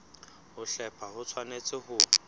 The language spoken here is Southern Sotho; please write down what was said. ho hlepha ho tshwanetse ho